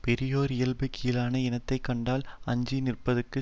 பெரியோர் இயல்பு கீழான இனத்தை கண்டால் அஞ்சி நிற்பதாகும்